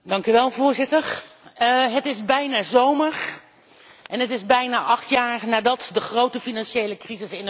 Het is bijna zomer en het is bijna acht jaar nadat de grote financiële crisis in Europa toesloeg.